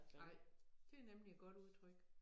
Nej det nemlig et godt udtryk